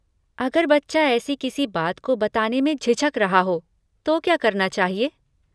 अगर बच्चा ऐसी किसी बात को बताने में झिझक रहा हो तो क्या करना चाहिए?